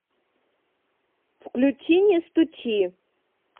включи не стучи